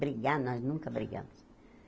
Brigar, nós nunca brigamos.